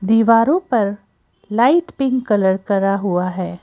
दीवारों पर light pink colour करा हुआ है।